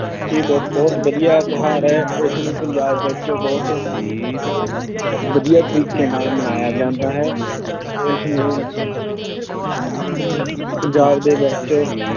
ਇਹ ਬਹੁਤ ਬਹੁਤ ਵਧੀਆ ਤਿਉਹਾਰ ਹੈ, ਇਸਨੂੰ ਪੰਜਾਬ ਵਿੱਚ ਬਹੁਤ ਵਧੀਆ ਤਰੀਕੇ ਨਾਲ ਮਨਾਇਆ ਜਾਂਦਾ ਹੈ ਇਸਨੂੰ ਪੰਜਾਬ ਦੇ ਵਿੱਚ